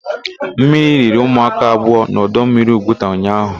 Mmiri riri ụmụaka abụọ na ọdọmmiri Ugwuta ụnyaahụ.